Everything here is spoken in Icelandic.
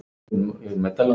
Og henni var þetta ljóst.